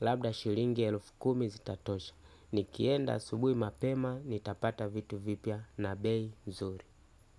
Labda shilingi elufu kumi zitatosha. Nikienda asubuhi mapema, nitapata vitu vipya na bei nzuri.